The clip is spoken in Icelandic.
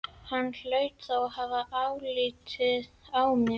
Hann hlaut þá að hafa álit á mér!